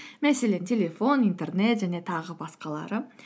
мәселен телефон интернет және тағы басқалары